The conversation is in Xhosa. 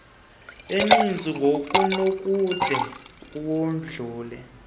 eninzi ngokunokude kodlule